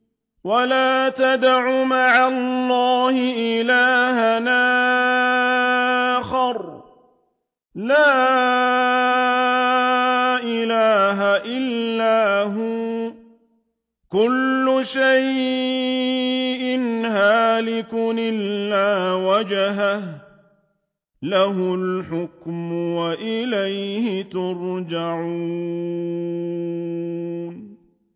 وَلَا تَدْعُ مَعَ اللَّهِ إِلَٰهًا آخَرَ ۘ لَا إِلَٰهَ إِلَّا هُوَ ۚ كُلُّ شَيْءٍ هَالِكٌ إِلَّا وَجْهَهُ ۚ لَهُ الْحُكْمُ وَإِلَيْهِ تُرْجَعُونَ